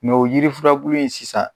Mɛ o yiri furabulu in sisan